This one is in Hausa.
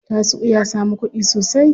Tasi'u ya samu kuɗi sosai.